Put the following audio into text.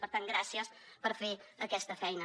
per tant gràcies per fer aquesta feina